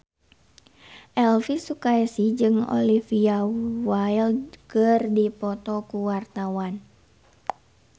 Elvy Sukaesih jeung Olivia Wilde keur dipoto ku wartawan